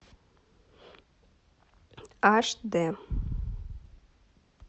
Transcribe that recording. аш дэ